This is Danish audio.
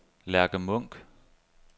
Lærke Munch